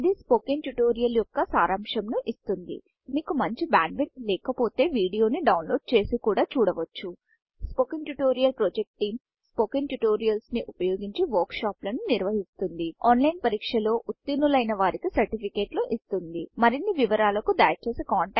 ఇది spoken tutorial యొక్క సరంశంను ఇస్తుంది మీకు మంచి బ్యాండ్ విడ్త్ లేక పొతే వీడియో ని డౌన్లోడ్ చేసి కూడా చూడవచ్చు spoken tutorial project team spoken tutorials ని ఉపయోగించి వర్క్ షాప్లను నిర్వహిస్తుంది ఆన్లైన్ పరీక్షలు ఉతిర్నులైన వారికీ సర్టిఫికెట్లు ఇస్తుంది మరిన్ని వివరాలకు దయచేసి contactspoken tutorial